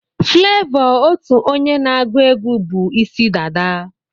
Flavour ụtọ onye na-agwuegwu bu Ịsị dada.